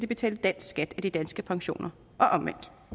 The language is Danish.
betale dansk skat af de danske pensioner